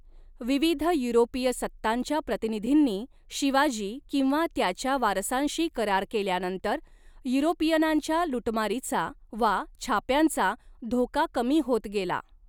विविध युरोपीय सत्तांच्या प्रतिनिधींनी शिवाजी किंवा त्याच्या वारसांशी करार केल्यानंतर युरोपीयनांच्या लुटमारीचा वा छाप्यांचा धोका कमी होत गेला.